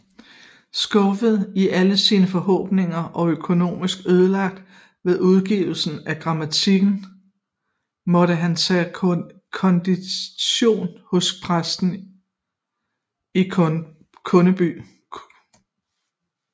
Skuffet i alle sine forhåbninger og økonomisk ødelagt ved udgivelsen af grammatikken måtte han tage kondition hos præsten i Kundby